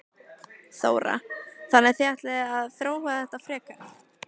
Þóra: Þannig að þið ætlið að þróa þetta frekar?